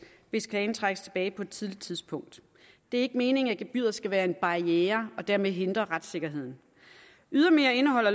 hvis klagen trækkes tilbage på et tidligt tidspunkt det er ikke meningen at gebyret skal være en barriere og dermed hindre retssikkerheden ydermere indeholder